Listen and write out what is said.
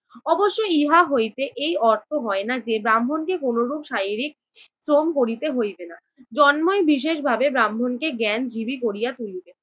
অবশ্য ইহা হইতে এই অর্থ হয়না যে ব্রাহ্মণকে কোনোরূপ শারীরিক শ্রম করিতে হইবে না, জন্মই বিশেষভাবে ব্রাহ্মণ কে জ্ঞানজীবী করিয়া তুলিবে,